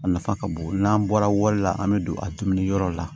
A nafa ka bon n'an bɔra wari la an bɛ don a dumuniyɔrɔ la